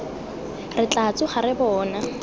re tla tsoga re bona